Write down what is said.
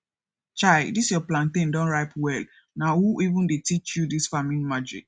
chai dis your plantain don ripe well na who even dey teach you dis farming magic